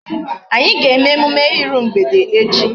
Anyị ga-eme emume iru mgbede echi.